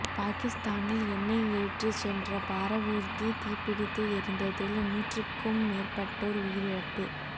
பாகிஸ்தானில் எண்ணெய் ஏற்றிச் சென்ற பாரவூர்தி தீப்பிடித்து எரிந்ததில் நூற்றுக்கும் மேற்பட்டோர் உயிரிழப்பு